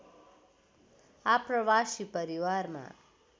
आप्रवासी परिवारमा